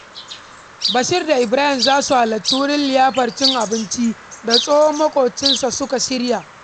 Bashir da Ibarahim za su halarci wurin liyafar cin abincin da tsohon maƙocinsa suka shirya.